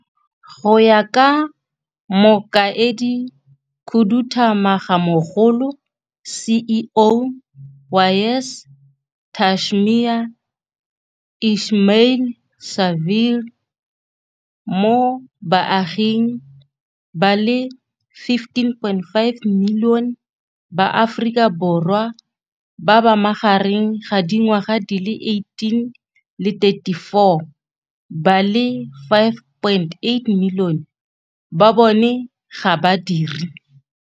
Go ya ka Mokaedikhuduthamagamogolo, CEO wa YES Tashmia Ismail-Saville, mo baaging ba le 15.5 milione ba Aforika Bo rwa ba ba magareng ga di ngwaga di le 18 le 34, ba le 5.8 milione ba bone ga ba dire.